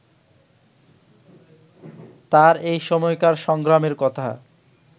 তাঁর এই সময়কার সংগ্রামের কথা